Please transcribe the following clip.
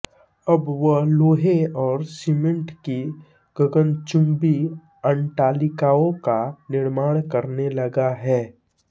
अब वह लोहे और सीमेन्ट की गगनचुम्बी अट्टालिकाओं का निर्माण करने लगा है